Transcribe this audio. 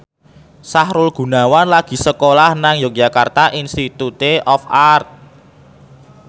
Sahrul Gunawan lagi sekolah nang Yogyakarta Institute of Art